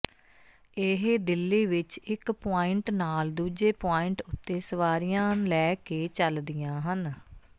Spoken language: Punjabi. ਇਹ ਦਿੱਲੀ ਵਿੱਚ ਇੱਕ ਪੁਆਇੰਟ ਨਾਲ ਦੂਜੇ ਪੁਆਇੰਟ ਉੱਤੇ ਸਵਾਰੀਆਂ ਲੈ ਕੇ ਚੱਲਦੀਆਂ ਹਨ